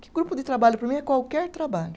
Que grupo de trabalho, para mim, é qualquer trabalho.